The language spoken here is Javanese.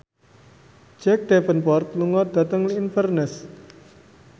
Jack Davenport lunga dhateng Inverness